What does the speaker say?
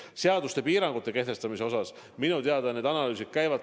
Seadustes lubatud piirangute kehtestamise osas minu teada analüüsid käivad.